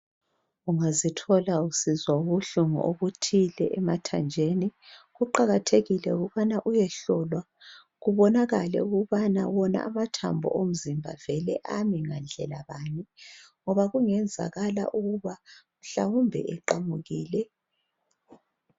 ungazithola usizwa ubuhlungu obuthile emathanjeni kuqhakatheile ukuthi uyehlola kubonakale ukubana wona amathambo emzimbeni ngowawo ame ngendlela bani ngoba kungenzakala ukuba mhlawumbe eqhamukile